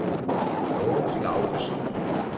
Mogens Laugesen